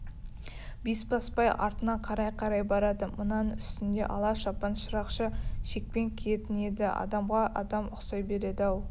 бесбасбай артына қарай-қарай барады мынаның үстінде ала шапан шырақшы шекпен киетін еді адамға адам ұқсай береді-ау